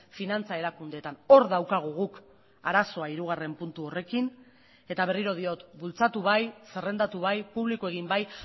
finantza erakundeetan hor daukagu guk arazoa hirugarren puntu horrekin eta berriro diot bultzatu bai zerrendatu bai publiko egin bai